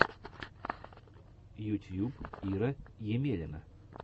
ютьюб ира емелина